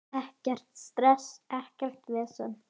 Ekkert stress, ekkert vesen.